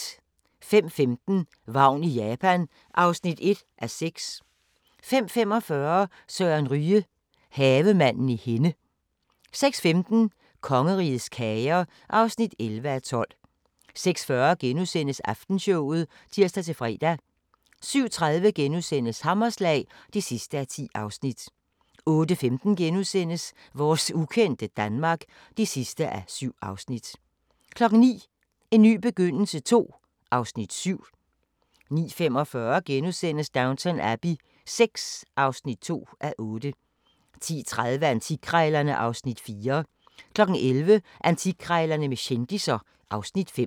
05:15: Vagn i Japan (1:6) 05:45: Søren Ryge – Havemanden i Henne 06:15: Kongerigets kager (11:12) 06:40: Aftenshowet *(tir-fre) 07:30: Hammerslag (10:10)* 08:15: Vores ukendte Danmark (7:7)* 09:00: En ny begyndelse II (Afs. 7) 09:45: Downton Abbey VI (2:8)* 10:30: Antikkrejlerne (Afs. 4) 11:00: Antikkrejlerne med kendisser (Afs. 5)